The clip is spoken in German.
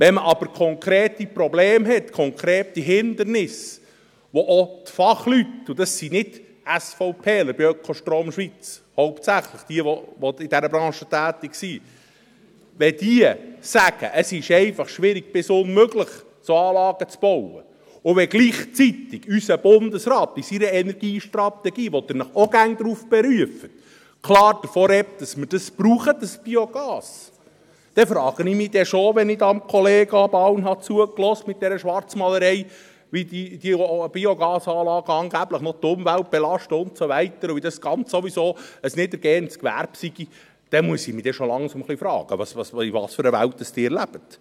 Wenn man aber konkrete Probleme hat, konkrete Hindernisse, bei denen auch die Fachleute sagen – und das sind nicht hauptsächlich SVPler bei Ökostrom Schweiz, die in dieser Branche tätig sind –, es sei schwierig bis unmöglich, solche Anlagen zu bauen, und wenn gleichzeitig unser Bundesrat in seiner Energiestrategie, auf die Sie sich auch immer berufen, klar davon redet, dass wir das Biogas brauchen, und wenn ich Kollega Bauen zuhöre mit dieser Schwarzmalerei, wie diese Biogasanlagen angeblich noch die Umwelt belasten und wie dies sowieso ein niedergehendes Gewerbe sei –, dann muss ich schon langsam fragen, in was für einer Welt Sie leben.